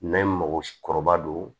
N'an ye mago kɔrɔba don